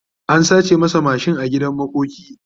an sace masa mashin a gidan makoki